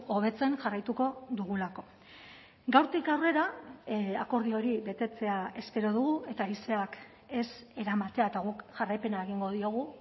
hobetzen jarraituko dugulako gaurtik aurrera akordio hori betetzea espero dugu eta haizeak ez eramatea eta guk jarraipena egingo diogu